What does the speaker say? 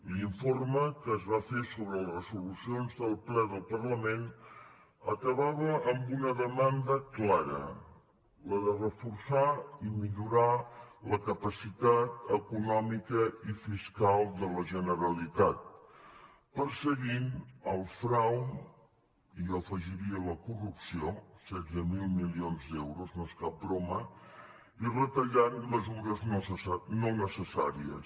l’informe que es va fer sobre les resolucions del ple del parlament acabava amb una demanda clara la de reforçar i millorar la capacitat econòmica i fiscal de la generalitat perseguint el frau i jo hi afegiria la corrupció setze mil milions d’euros no és cap broma i retallant mesures no necessàries